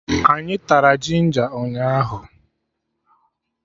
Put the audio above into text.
Anyị tara jinja ụnyaahụ